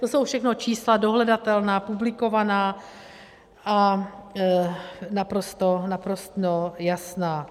To jsou všechno čísla dohledatelná, publikovaná a naprosto jasná.